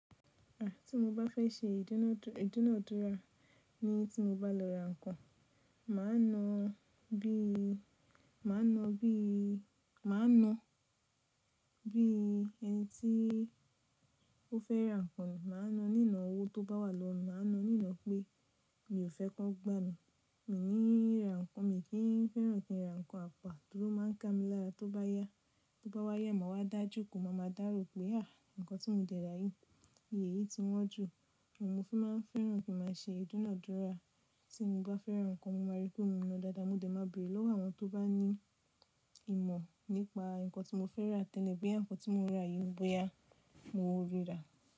Àti mo bá fẹ́ ṣe ìdúnadúrà ní tí mo bá lọ ra nǹkan, màá na bí, màá na bí, màá na bí ẹni tí ó fẹ́ ra nǹkan. Màá na nínà owó tó bá wà lọ́wo mi, màá na nínà pé mi ò fẹ́ ki won gbá mi. Mí ní ra nǹkan mi kí n fẹ́ràn kí n ra nǹkan apà, torí ó máa ń ká mi lára. Tó bá yá, tó bá wáyé, màá wá dá jo kó máa ma dárò pé àì, nǹkan tí mo de ra yìí, iye yìí tí wọ́n jù. Ni mo fi máa n fẹ́ràn kí màá ṣe ìdúnadúrà tí mo bá fẹ́ra nǹkan. Mo máa rí pé mo náà dáadáa, mo de máa béèrè lọ́wọ́ àwọn tó bá ní ìmọ̀ nípa nǹkan tí mo fẹ́ ra tẹ́lẹ̀ pé nǹkan tí mo ra yìí bóyá mo ríra.